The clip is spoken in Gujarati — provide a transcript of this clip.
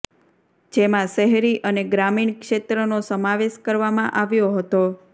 જેમાં શહેરી અને ગ્રામીણ ક્ષેત્રનો સમાવેશ કરવામાં આવ્યો હતો